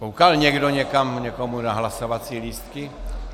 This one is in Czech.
Koukal někdo někam někomu na hlasovací lístky?